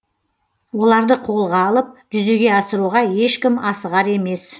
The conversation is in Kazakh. оларды қолға алып жүзеге асыруға ешкім асығар емес